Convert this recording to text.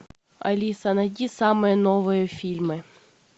алиса найди самые новые фильмы